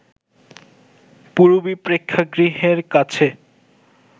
পূরবী প্রেক্ষাগৃহের কাছে